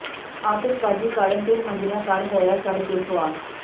ਆਤਿਸ਼ਬਾਜੀ ਕਾਰਨ ਤਿੰਨ ਮੰਜਿਲਾ ਘਰ ਹੋਇਆ ਸੜ੍ਹ ਕੇ ਸੁਆਹ